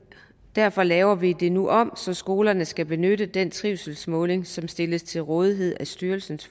derfor laver vi det nu om så skolerne skal benytte den trivselsmåling som stilles til rådighed af styrelsen